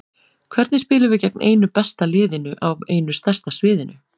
Hvernig spilum við gegn einu besta liðinu á einu stærsta sviðinu?